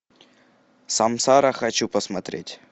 самсара хочу посмотреть